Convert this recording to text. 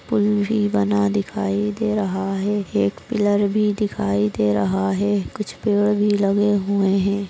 पुल भी बना दिखाई दे रहा है एक पिलर भी दिखाई दे रहा है कुछ पेड़ भी लगे हुए है।